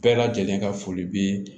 Bɛɛ lajɛlen ka foli be